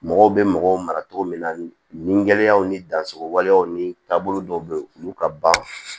Mɔgɔw bɛ mɔgɔw mara cogo min na nin gɛlɛyaw ni danso waleyaw ni taabolo dɔw bɛ yen olu ka ban